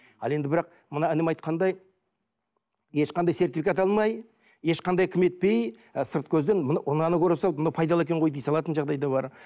ал енді бірақ мына інім айтқандай ешқандай сертификат алмай ешқандай етпей ы сырт көзден мұны мынаны көре салып мынау пайдалы екен ғой дей салатын жағдай да бар